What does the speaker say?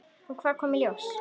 En hvað kom í ljós?